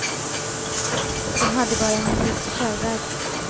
De hade bara en minuts körväg.